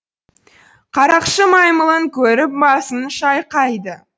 қарақшы маймылын көріп басын шайқайды